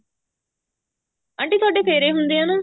aunty ਥੋਡੇ ਫੇਰੇ ਹੁੰਦੇ ਆ ਨਾ